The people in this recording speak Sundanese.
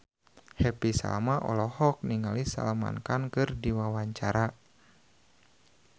Happy Salma olohok ningali Salman Khan keur diwawancara